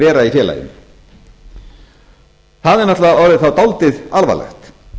vera í félaginu það er náttúrlega orðið dálítið alvarlegt